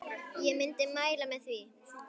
Ég myndi mæla með því.